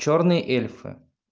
чёрные эльфы